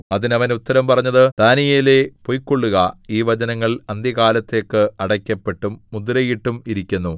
അതിന് അവൻ ഉത്തരം പറഞ്ഞത് ദാനീയേലേ പൊയ്ക്കൊള്ളുക ഈ വചനങ്ങൾ അന്ത്യകാലത്തേക്ക് അടയ്ക്കപ്പെട്ടും മുദ്രയിട്ടും ഇരിക്കുന്നു